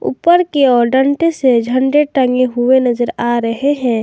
ऊपर के ओर डंडे से झंडा टंगे हुए नजर आ रहे हैं।